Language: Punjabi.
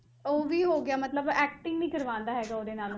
ਉਹ ਵੀ ਹੋ ਗਿਆ ਮਤਲਬ acting ਨੀ ਕਰਵਾਉਂਦਾ ਹੈਗਾ ਉਹਦੇ ਨਾਲ